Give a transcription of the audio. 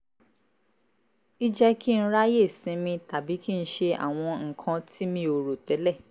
í jẹ́ kí n ráyè sinmi tàbí kí n ṣe àwọn nǹkan tí mi ò rò tẹ́lẹ̀